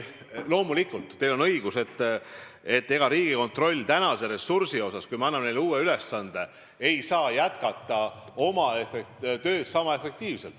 Loomulikult, teil on õigus: kui me anname Riigikontrollile uue ülesande, ei saa nad seniste ressurssidega jätkata oma tööd sama efektiivselt.